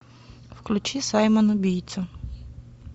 включи саймон убийца